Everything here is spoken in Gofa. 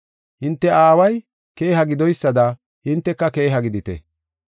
Hinte aaway keeha gidoysada hinteka keeha gidite.